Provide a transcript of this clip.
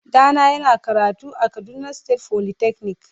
Dana yana karatu a kaduna state folytechnic.